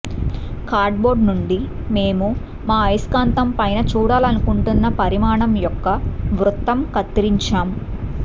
cardboard నుండి మేము మా అయస్కాంతం పైన చూడాలనుకుంటున్న పరిమాణం యొక్క వృత్తం కత్తిరించాం